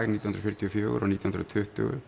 nítján hundruð fjörutíu og fjögur og nítján hundruð og tuttugu